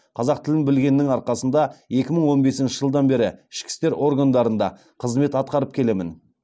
қазақ тілін білгеннің арқасында екі мың он бесінші жылдан бері ішкі істер органдарында қызмет атқарып келемін